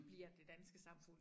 Bliver det danske samfund